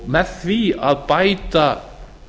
með því að bæta